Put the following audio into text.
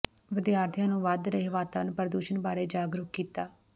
ਵਿਦਿਆਰਥੀਆਂ ਨੂੰ ਵੱਧ ਰਹੇ ਵਾਤਾਵਰਨ ਪ੍ਰਦੂਸ਼ਣ ਬਾਰੇ ਜਾਗਰੂਕ ਕੀਤਾ